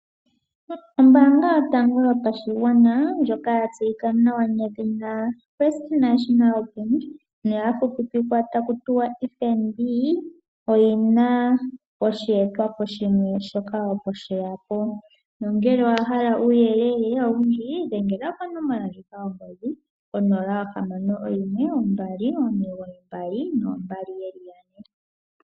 Ombaanga yotango yopashigwana ndjoka ya tseyika nawa nedhina First National Bank noya fupipikwa ta ku tiwa FNB oyi na osheetwapo shimwe shoka opo sheya po nongele owahala uuyelele owundji dhengela konomola yongodhi 0612992222.